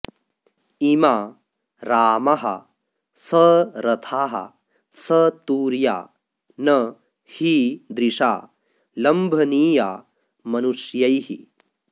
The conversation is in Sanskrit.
इमा रामाः सरथाः सतूर्या न हीदृशा लम्भनीया मनुष्यैः